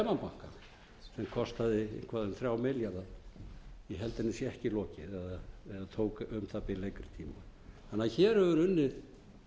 eitthvað um þrjá milljarða ég held henni sé ekki lokið eða tók um það bil lengri tíma þannig að hér hefur verið unnið